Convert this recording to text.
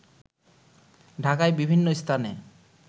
ঢাকায় বিভিন্ন স্থানে